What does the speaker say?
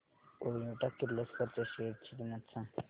Toyota Kirloskar च्या shares ची किंमत सांग